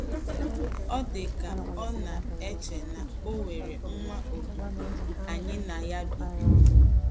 Ọ dị ka ọ na - eche na o nwere nwa odibo anyị na ya bi.